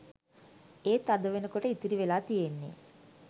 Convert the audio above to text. එත් අද වෙනකොට ඉතිරි වෙලා තියෙන්නේ